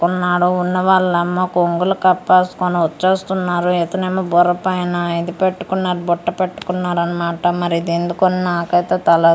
ఉన్నాడు ఉన్న వాళ్ళ అమ్మ కొంగులు కప్పేసుకొని వచ్చేస్తున్నారు ఇతనేమో బుర్రపైనా ఇది పెట్టుకున్నా బుట్ట పెట్టుకున్నారన్నమాట మరి ఇది ఎందుకో నాకైతే తెలీ--